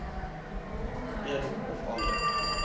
een of ander